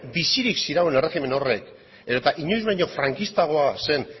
bizirik zirauen erregimen horrek edota inoiz baino frankistagoa zen